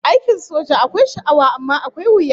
Aikin soja akwai sha'awa amma akwai wuya